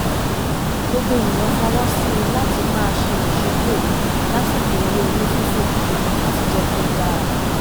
gbogbo ènìyàn fọwọ́ sí i láti máa ṣe ìṣípò lásìkò eré oní-fífò láti jẹ́ kí ó dára